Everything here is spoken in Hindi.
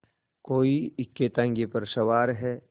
कोई इक्केताँगे पर सवार